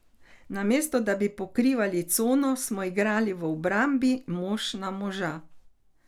Namesto, da bi pokrivali cono, smo igrali v obrambi mož na moža.